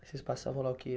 Vocês passavam lá o quê?